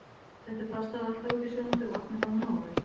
Settu pastað alltaf út í sjóðandi vatn og hafðu nóg af því.